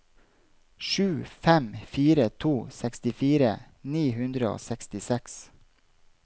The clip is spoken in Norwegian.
sju fem fire to sekstifire ni hundre og sekstiseks